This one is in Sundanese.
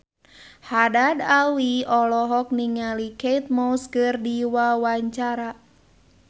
Haddad Alwi olohok ningali Kate Moss keur diwawancara